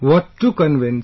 What to convince